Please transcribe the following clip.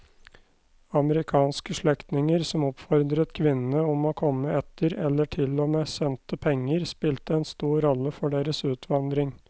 Amerikanske slektninger som oppfordret kvinnene om å komme etter eller til og med sendte penger spilte en stor rolle for deres utvandring.